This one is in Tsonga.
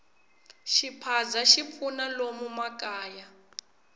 xiphaza xi pfuna lomu makaya